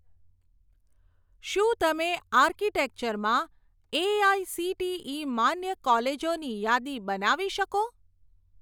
શું તમે આર્કિટેક્ચર માં એઆઇસીટીઇ માન્ય કોલેજોની યાદી બનાવી શકો?